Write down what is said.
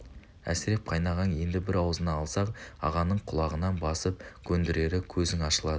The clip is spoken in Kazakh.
әсіреп қайынағаң енді бір аузына алса-ақ ағаның құлағынан басып көндірері көзің ашылады